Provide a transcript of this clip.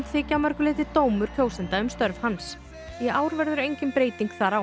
þykja að mörgu leyti dómur kjósenda um störf hans í ár verður engin breyting þar á